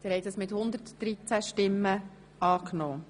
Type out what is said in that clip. Sie haben die Jahresrechnung einstimmig genehmigt.